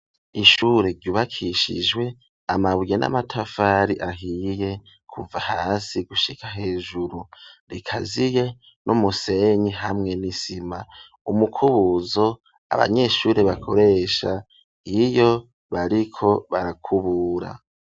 ishure ryubakishijwe amabuye n'amatafari ahiye kuva hasi gushika hejuru rikaziye n'umusenyi hamwe n'isima umukubuzo abanyeshuri bakoresha iyo bariko barakubura.